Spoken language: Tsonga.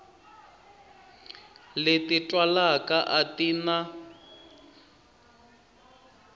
leti twalaka a ti na